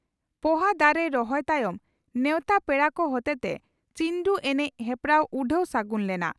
ᱯᱚᱦᱟ ᱫᱟᱨᱮ ᱨᱚᱦᱚᱭ ᱛᱟᱭᱚᱢ ᱱᱮᱣᱛᱟ ᱯᱮᱲᱟ ᱠᱚ ᱦᱚᱛᱮᱛᱮ ᱪᱤᱱᱰᱩ ᱮᱱᱮᱡ ᱦᱮᱯᱨᱟᱣ ᱩᱰᱷᱟᱹᱣ ᱥᱟᱹᱜᱩᱱ ᱞᱮᱱᱟ ᱾